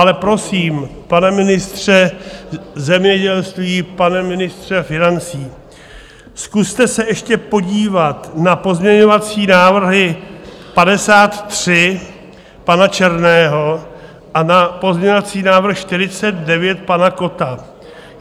Ale prosím, pane ministře zemědělství, pane ministře financí, zkuste se ještě podívat na pozměňovací návrh 53 pana Černého a na pozměňovací návrh 49 pana Kotta.